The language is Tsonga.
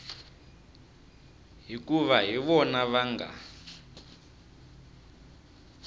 hikuva hi vona va nga